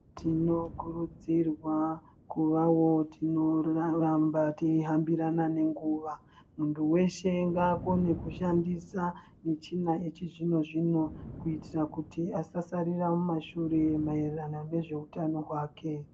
Tinokurudzirwa kuvawo tinovatamba teihambirana nenguwa muntu weshe ngaakone kushandisa michina yechizvino zvino kuitira kuti asasarira mumashure maererano nezveutano hwake.